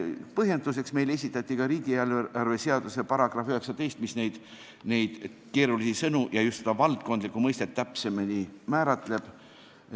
Põhjenduseks esitati meile ka riigieelarve seaduse § 19, mis neid keerulisi sõnu ja just seda valdkondlikkuse mõistet täpsemini määratleb.